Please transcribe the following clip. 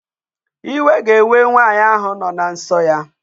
Iwe ga-ewe nwaanyị ahụ nọ na nsọ ya.